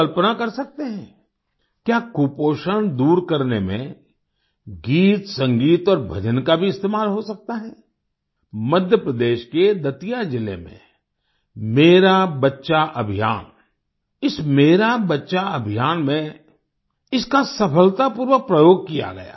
आप कल्पना कर सकते हैं क्या कुपोषण दूर करने में गीतसंगीत और भजन का भी इस्तेमाल हो सकता है मध्य प्रदेश के दतिया जिले में मेरा बच्चा अभियान इस मेरा बच्चा अभियान में इसका सफलतापूर्वक प्रयोग किया गया